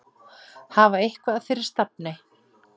Hafa eitthvað fyrir stafni.